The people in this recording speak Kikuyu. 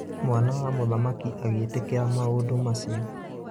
Mwana wa mũthamaki agĩtĩkĩra maũndũ macio.